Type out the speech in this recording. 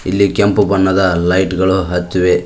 ಇಲ್ಲಿ ಕೆಂಪು ಬಣ್ಣದ ಲೈಟ್ ಗಳು ಹಚ್ಚಿವೆ.